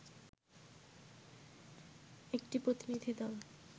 একটি প্রতিনিধিদল